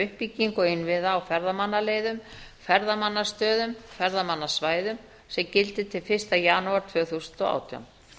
uppbyggingu innviða á ferðamannaleiðum ferðamannastöðum og ferðamannasvæðum sem gildi til fyrsta janúar tvö þúsund og átján